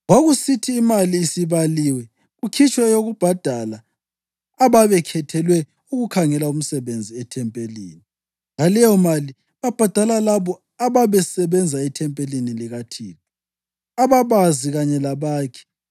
Kwakusithi imali isibaliwe kukhitshwe eyokubhadala ababekhethelwe ukukhangela umsebenzi ethempelini. Ngaleyomali babhadala labo ababesebenza ethempelini likaThixo, ababazi kanye labakhi